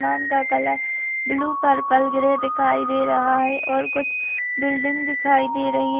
आसमान का colour blue purple grey दिखाई दे रहा है ओर कुछ बिल्डिंग दिखाई दे रही हैं।